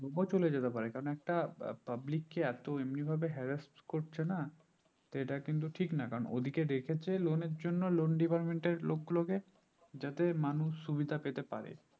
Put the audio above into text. বল চলে যেতে পারে কারণ একটা public কে এতো এমনি ভাবে harass করছে না তো এটা কিন্তু ঠিক না কারণ ওদের কে রেখেছে loan এর জন্য loan department এর লোক গুলো কে যাতে মানুষ সুবিধা পেতে পারে